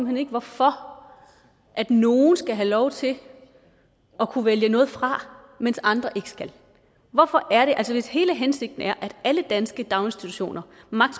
hen ikke hvorfor at nogle skal have lov til at kunne vælge noget fra mens andre skal hvorfor er det sådan altså hvis hele hensigten er at alle danske daginstitutioner